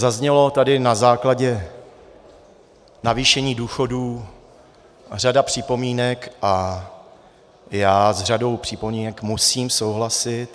Zazněla tady na základě navýšení důchodů řada připomínek a já s řadou připomínek musím souhlasit.